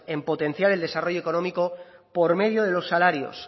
en potenciar el desarrollo económico por medio de los salarios